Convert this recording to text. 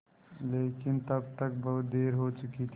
लेकिन तब तक बहुत देर हो चुकी थी